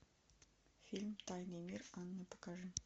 фильм тайный мир анны покажи